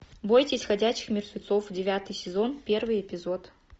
бойтесь ходячих мертвецов девятый сезон первый эпизод